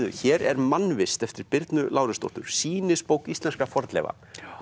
hér er mannvist eftir Birnu Lárusdóttur sýnisbók íslenskra fornleifa